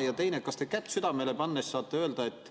Ja teiseks: kas te kätt südamele pannes saate öelda, et